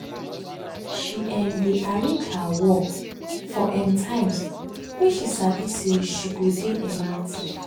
she um dey arrange her work for um times wey she sabi say she go dey um active